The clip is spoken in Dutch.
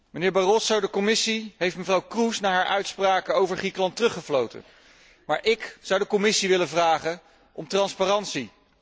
Mijnheer Barroso, de Commissie heeft mevrouw Kroes na haar uitspraak over Griekenland teruggefloten, maar ik zou de Commissie willen vragen om transparantie.